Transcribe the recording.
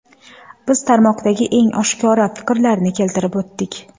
Biz tarmoqdagi eng oshkora fikrlarni keltirib o‘tdik.